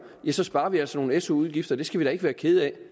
sparer vi altså nogle su udgifter det skal vi da ikke være kede af